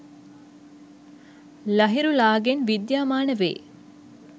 ලහිරුලාගෙන් විද්‍යාමාන වේ.